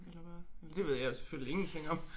Eller hvad eller det ved jeg jo selvfølgelig ingenting om